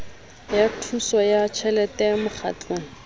ya thuso ya tjhelete mokgatlong